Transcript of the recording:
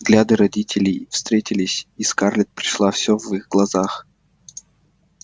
взгляды родителей встретились и скарлетт прочла всё в их глазах